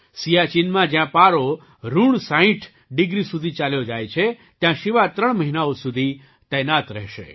સિયાચિનમાં જ્યાં પારો ઋણ સાઇઠ 60 ડિગ્રી સુધી ચાલ્યો જાય છે ત્યાં શિવા ત્રણ મહિનાઓ સુધી તૈનાત રહેશે